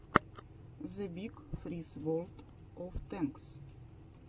зэ биг фриз ворлд оф тэнкс